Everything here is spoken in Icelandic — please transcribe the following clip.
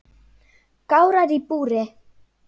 Gárar í búri